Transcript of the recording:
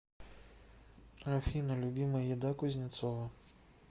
афина любимая еда кузнецова